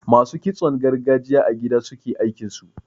Masu kitson gargajiya a gida suke aikinsu.